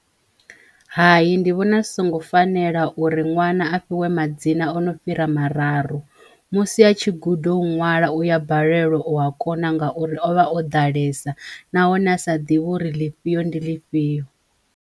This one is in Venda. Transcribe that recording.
Hayi ndi vhona zwi songo fanela uri ṅwana a fhiwe madzina o no fhira mararu musi a tshi gudo u ṅwala uya balelwa u a kona ngauri ovha o ḓalesa nahone a sa ḓivhi uri ḽifhio ndi ḽifhio.